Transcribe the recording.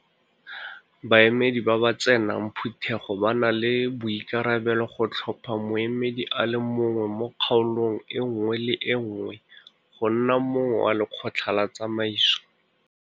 Baemedi ba ba tsenang Phutego ba na le boikarabelo go tlhopha moemedi a le mongwe mo kgaolong e nngwe le e nngwe go nna mongwe wa Lekgotla la Tsamaiso.